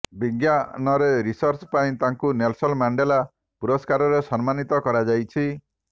ବିଜ୍ଞାନରେ ରିସର୍ଚ ପାଇଁ ତାଙ୍କୁ ନେଲସନ୍ ମାଣ୍ଡେଲା ପରୁସ୍କାରରେ ସମ୍ମାନୀତ କରାଯାଇଛି